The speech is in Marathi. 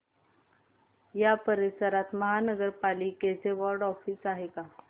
या परिसरात महानगर पालिकेचं वॉर्ड ऑफिस आहे का